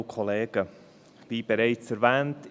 Wie bereits erwähnt: